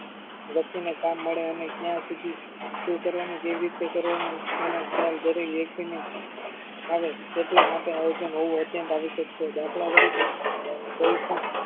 વ્યક્તિને કામ મળે અને ત્યાં સુધી શું કરવાનું કેવીરીતે કરવાનું તેનો ખ્યાલ દરેક વ્યક્તિને આવે તેટલા માટે આયોજન હોવું અત્યન્ત આવશ્યક છે દાખલ તરીકે કોઈપણ